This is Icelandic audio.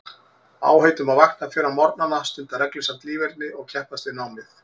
Áheit um að vakna fyrr á morgnana, stunda reglusamt líferni og keppast við námið.